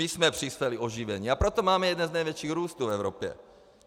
My jsme přinesli oživení, a proto máme jeden z největších růstů v Evropě.